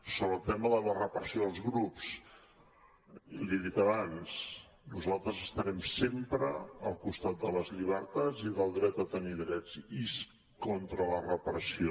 sobre el tema de la repressió als grups li ho he dit abans nosaltres estarem sempre al costat de les llibertats i del dret a tenir drets i contra la repressió